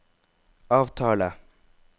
avtale